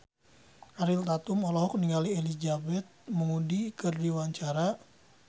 Ariel Tatum olohok ningali Elizabeth Moody keur diwawancara